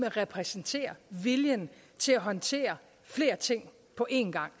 og repræsenterer viljen til at håndtere flere ting på én gang